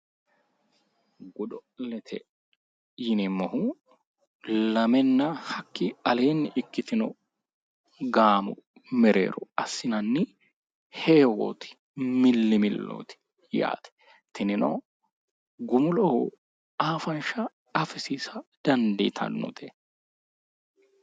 Godo'lete yineemmohu lamenna hakkii aleenni ikkitino gaamo mereero assinanni heewwooti, milli millooti yaate, tinino gumuloho afanshsha afisiisa dandiitannote.